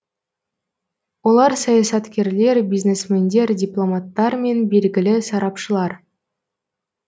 олар саясаткерлер бизнесмендер дипломаттар мен белгілі сарапшылар